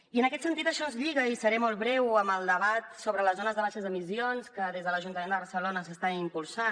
i en aquest sentit això ens lliga i seré molt breu amb el debat sobre les zones de baixes emissions que des de l’ajuntament de barcelona s’està impulsant